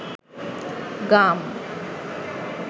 গাম